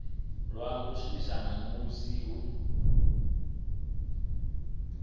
lwa nga shumiswa musi hu